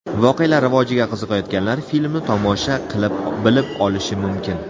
Voqealar rivojiga qiziqayotganlar filmni tomosha qilib bilib olishi mumkin.